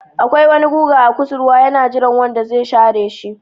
Akwai wani guga a kusurwa yana jiran wanda zai share shi.